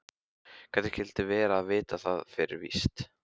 Hvernig skyldi vera að vita það fyrir víst.